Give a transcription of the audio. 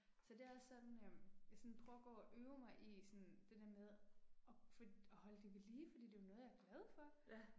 Så det er også sådan øh, jeg sådan prøver at gå og øve mig i sådan det der med at for at holde det ved lige, fordi det er jo noget jeg er glad for